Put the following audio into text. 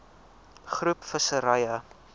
groep visserye